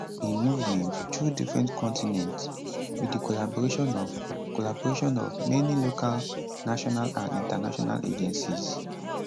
im movement through different continents with di collaboration of collaboration of many local national and international agencies